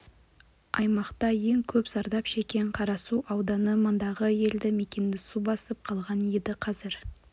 аймақта ең көп зардап шеккен қарасу ауданы мұндағы елді мекенді су басып қалған еді қазір